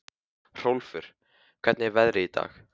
Hrólfur, hvernig er veðrið í dag?